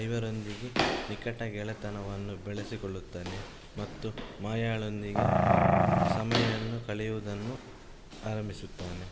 ಐವರೊಂದಿಗೆ ನಿಕಟ ಗೆಳೆತನವನ್ನು ಬೆಳೆಸಿಕೊಳ್ಳುತ್ತಾನೆ ಮತ್ತು ಮಾಯಾಳೊಂದಿಗೆ ಸಮಯ ಕಳೆಯುವುದನ್ನೂ ಆರಂಭಿಸುತ್ತಾನೆ